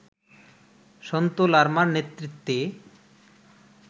সন্তু লারমার নেতৃত্বে